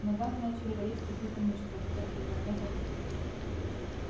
в ногах начали болеть какие-то мышцы о которых я давно забыл